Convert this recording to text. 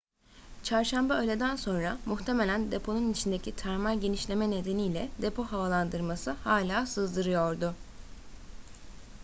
çarşamba öğleden sonra muhtemelen deponun içindeki termal genişleme nedeniyle depo havalandırması hala sızdırıyordu